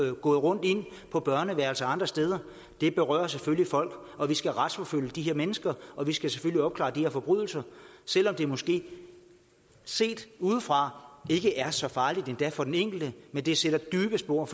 har gået rundt inde på børneværelser og andre steder det berører selvfølgelig folk og vi skal retsforfølge de her mennesker og vi skal selvfølgelig opklare de her forbrydelser selv om det måske set udefra ikke er så farligt endda for den enkelte men det sætter dybe spor